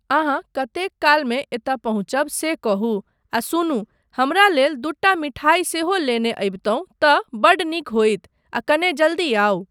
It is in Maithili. अहाँ कतेक कालमे एतय पहुँचब से कहू आ सुनू, हमरा लेल दूटा मिठाइ सेहो लेने अबितहुँ तँ बड्ड नीक होइत आ कने जल्दी आउ।